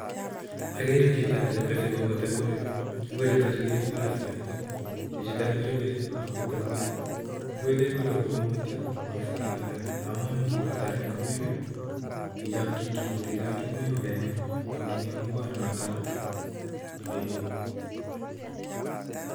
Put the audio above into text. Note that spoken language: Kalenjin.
Agere chito ni ribisi kobute ngwek. Ngwek chutochu kekure spinach. Chichitoni koribisi, agobute ngwek. Ngwek kebute komutyo, makiskchin haraka amun ngibut haraka ngwek, ngichokchi ngibut ichokchi, ngwek kokeng'em . Konging'em ngwondo notono koibe